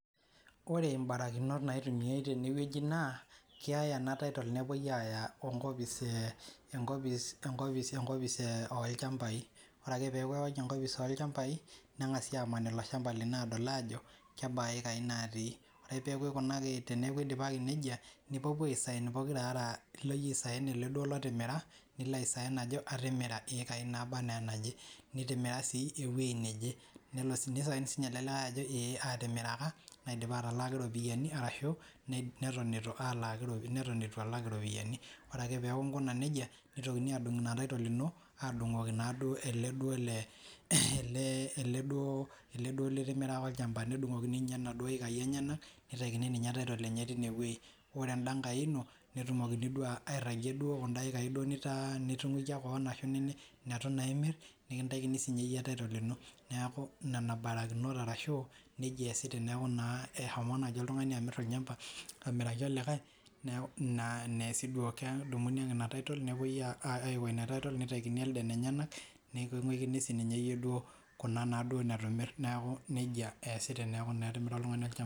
Oree imbarakinot naitumiai tenewoji naa keyai ena title nepoi ayaa enkopis enkopis enkopis enkopis oolchambai ore kaa peeku eyawaki enkopis olchampai nengasai amaan ilo shampa lino adol ajo kebaa iekai natii ore peeku eidimaki nejia nipopuo asain pookirare nilo iyie aisain ele otimira nilo asain ajo atimira iekai nabaa anaa enaje nitimiraa sii ewoji naje neisain sininye ele likae ajo ee atimiraka naidipa atimiraki iropiyiani arashu neton itu alaaki neton itu alaaki iropiyiani ore peeku inkuna nejia neitokini adung ena title ino adongoki naaduo ele ele ele duo litimiraka olchamba nedungokini naaduo ninye inaduo ekai enyenak neitakini ninye title enye tineweji ore enda ngai ino netumokini duo airagie kunda ekai nitungukia keon arashu initu imir neitu naa imir nikitakini naa sinye iyie title ino neeku nena barakinot arashuu neija easai teneku ina eshomo naaji oltungani amir olchampa amiraki likae naaa esii duo kedumuni ake ina title nepoi aiko ina title neitakini elde inenyenak nikinguikini sininyee duo iyie kuna naa duo nitu imir neeku nejia naaa easii tenemir oltumgani olchamba